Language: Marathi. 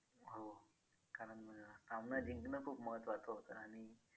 हो कारण सामना जिंकणं खूप महत्वाचं होतं आणि